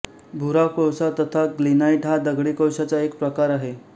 भुरा कोळसा तथा लिग्नाइट हा दगडी कोळशाचा एक प्रकार आहे